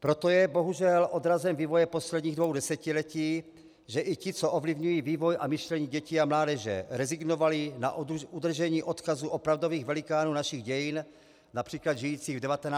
Proto je bohužel odrazem vývoje posledních dvou desetiletí, že i ti, co ovlivňují vývoj a myšlení dětí a mládeže, rezignovali na udržení odkazu opravdových velikánů našich dějin, například žijících v 19. a 20. století.